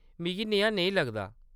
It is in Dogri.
मिगी नेहा नेईं लगदा।